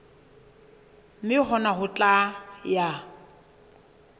mme hona ho tla ya